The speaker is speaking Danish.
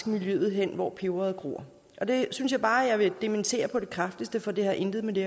miljøet hen hvor peberet gror det synes jeg bare at jeg vil dementere på det kraftigste for det har intet med det